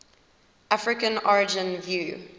african origin view